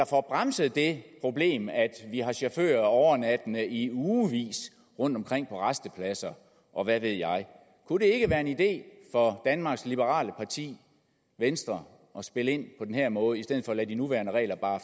får bremset det problem at vi har chauffører overnattende i ugevis rundtomkring på rastepladser og hvad ved jeg kunne det ikke være en idé for danmarks liberale parti venstre at spille ind på den her måde i stedet for bare at lade de nuværende regler